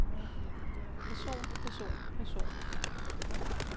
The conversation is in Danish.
person person person